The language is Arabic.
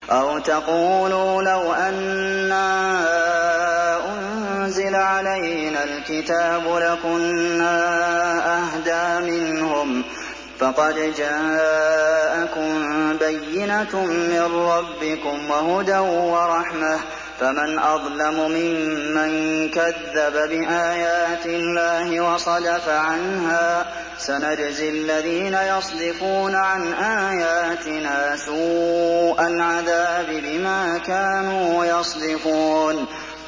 أَوْ تَقُولُوا لَوْ أَنَّا أُنزِلَ عَلَيْنَا الْكِتَابُ لَكُنَّا أَهْدَىٰ مِنْهُمْ ۚ فَقَدْ جَاءَكُم بَيِّنَةٌ مِّن رَّبِّكُمْ وَهُدًى وَرَحْمَةٌ ۚ فَمَنْ أَظْلَمُ مِمَّن كَذَّبَ بِآيَاتِ اللَّهِ وَصَدَفَ عَنْهَا ۗ سَنَجْزِي الَّذِينَ يَصْدِفُونَ عَنْ آيَاتِنَا سُوءَ الْعَذَابِ بِمَا كَانُوا يَصْدِفُونَ